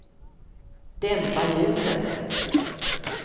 dämpa ljuset